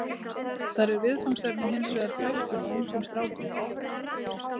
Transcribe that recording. Þar er viðfangsefnið hins vegar þrælkun á ungum strákum.